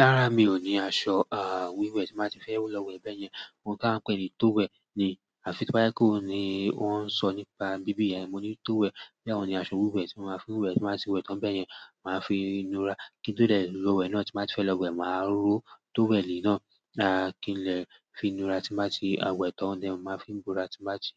Rárá mi ò ní aṣọ wiwẹ̀ tí n ba ti fẹ́ lọ wẹ̀ bẹ́yẹn. Ohun tí a ń pè ní towel ni àfi toba jepe oun ni wọ́n ń sọ nípa re ni bíbí ẹ, mo ní tówẹ̀. Béẹ̀ ọ́un ni aṣọ wiwẹ̀ tí mo maa fi n wẹ̀ tí n ba ti wẹ̀ tán bẹ́yẹn. Máa fi i nura kí tó dẹ̀ lọ wẹ̀ náà tí n ba ti fẹ́ lọ wẹ̀, màá ró tówẹ̀ lí náà. Kín lè fi nura tí n ba ti wẹ̀ tán. Mo máa n fi bora tí n ba ti